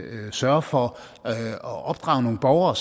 sørge for at opdrage nogle borgere